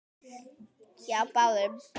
Hjá báðum.